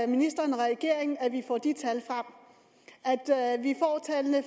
ministeren og regeringen ønsker at vi får de tal frem